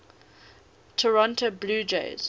toronto blue jays